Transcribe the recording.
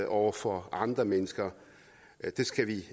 over for andre mennesker det skal vi